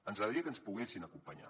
ens agradaria que ens hi poguessin acompanyar